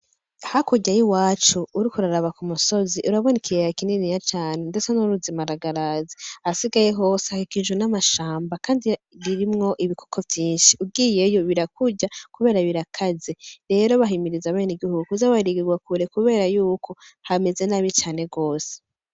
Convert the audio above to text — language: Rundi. Hakurya y'iwacu uriko uraraba k'umusozi urabona ikiyaya kinini cane ndetse n'uruzi maragarazi, ahasigaye hose hakikujwe n'amashamba kandi ririmwo ibikoko vyinshi, ugiyemwo birakurya kubera birakaze, rero bahimiriza abanegihungu kuza barigira kure kubera yuko hameze nabi gose.